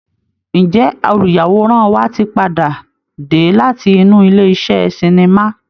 Ǹjẹ́ olùyàwòrán wa tí padà dé láti inú ilé iṣẹ́ sinimá?